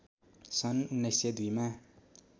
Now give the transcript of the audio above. सन् १९०२ मा